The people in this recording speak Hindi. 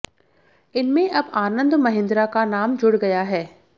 इनमे अब आनंद महिंद्रा का नाम जुड़ गया है